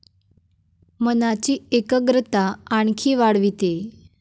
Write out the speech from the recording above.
मनाची एकग्रता आणखी वाढविते.